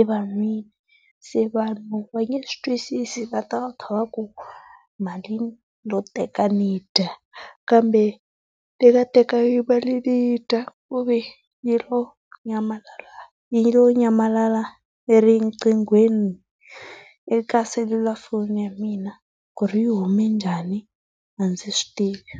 evanhwini. Se vanhu va nge swi twisisi va ta va kha va ku mali ni lo teka ni dya kambe ni nga tekanga mali ni yi dya ku ve yi lo nyamalala yi lo nyamalala erinqinghweni eka selulafoni ya mina ku ri yi hume njhani a ndzi swi tivi.